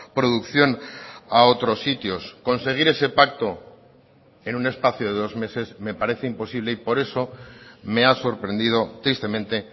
producción a otros sitios conseguir ese pacto en un espacio de dos meses me parece imposible y por eso me ha sorprendido tristemente